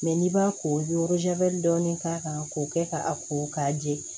n'i b'a ko i bɛ dɔɔnin k'a kan k'o kɛ ka a ko k'a jɛ